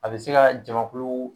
A be se ka jamamankulu